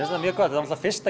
þetta mjög gott fyrsta